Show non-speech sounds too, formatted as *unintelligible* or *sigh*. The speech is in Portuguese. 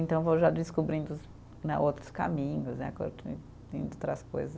Então eu vou já descobrindo os né, outros caminhos né, *unintelligible* outras coisas.